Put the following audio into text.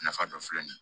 Nafa dɔ filɛ nin ye